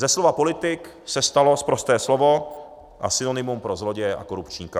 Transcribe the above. Ze slova politik se stalo sprosté slovo a synonymum pro zloděje a korupčníka.